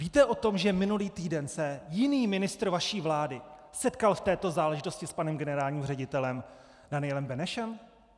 Víte o tom, že minulý týden se jiný ministr vaší vlády setkal v této záležitosti s panem generálním ředitelem Danielem Benešem?